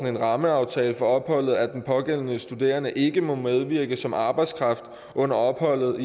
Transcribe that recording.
en rammeaftale for opholdet at den pågældende studerende ikke må medvirke som arbejdskraft under opholdet